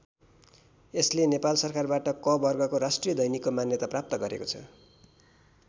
यसले नेपाल सरकारबाट क वर्गको राष्ट्रिय दैनिकको मान्यता प्राप्त गरेको छ।